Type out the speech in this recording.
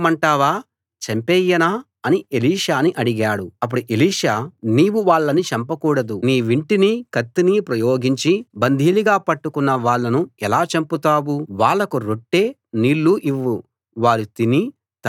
అప్పుడు ఎలీషా నీవు వాళ్ళని చంపకూడదు నీ వింటినీ కత్తినీ ప్రయోగించి బందీలుగా పట్టుకున్న వాళ్ళను ఎలా చంపుతావు వాళ్లకు రొట్టె నీళ్ళూ ఇవ్వు వారు తిని తాగి తమ రాజు దగ్గరికి తిరిగి వెళ్ళిపోతారు అన్నాడు